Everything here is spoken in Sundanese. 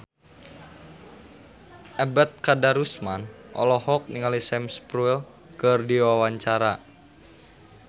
Ebet Kadarusman olohok ningali Sam Spruell keur diwawancara